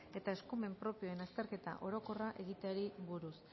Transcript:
eta eskumen propioen azterketa orokorra egiteari buruz